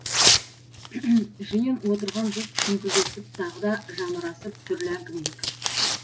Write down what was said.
жиын отырған жұрт шүңкілдесіп тағы да жамырасып түрлі әңгімеге кірісті